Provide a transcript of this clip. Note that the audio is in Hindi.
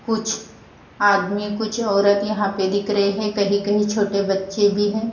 कुछ आदमी कुछ औरत यहां पे दिख रहे हैं कहीं-कहीं छोटे बच्चे भी हैं।